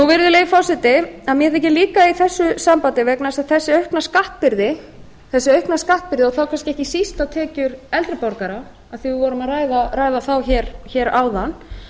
virðulegi forseti mér þykir líka í þessu sambandi vegna þess að þessi aukna skattbyrði og þá kannski ekki síst á tekjur eldri borgara af því að við vorum að ræða þá hér áðan